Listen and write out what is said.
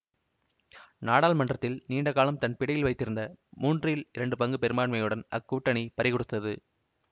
நாடாளுமன்றத்தில் நீண்ட காலம் தன் பிடியில் வைத்திருந்த மூன்றில் இரண்டு பங்கு பெரும்பான்மையையும் அக்கூட்டணி பறிகொடுத்தது